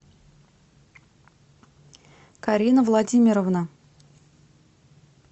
карина владимировна